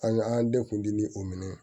An an den kun deli o minɛn